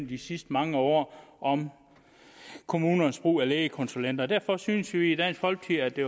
de sidste mange år om kommunernes brug af lægekonsulenter derfor synes vi i dansk folkeparti